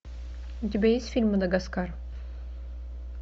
у тебя есть фильм мадагаскар